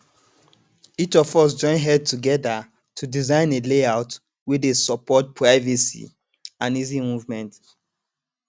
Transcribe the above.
each of us join head together to design a layout wey dey support privacy and easy movement